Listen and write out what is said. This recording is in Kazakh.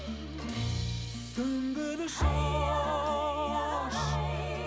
сүмбіл шаш